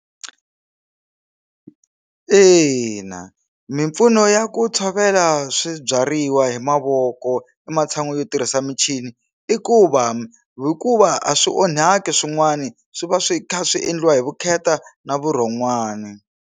Ina mimpfuno ya ku tshovela swibyariwa hi mavoko ematshan'wini yo tirhisa michini i ku va hikuva a swi onhaki swin'wani swi va swi kha swi endliwa hi vukheta na vurhon'wani.